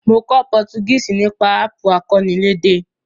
Mo kó Portuguese nípasẹ̀ app akọ́nilédè